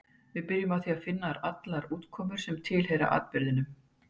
Við byrjum á því að finna allar útkomur sem tilheyra atburðinum.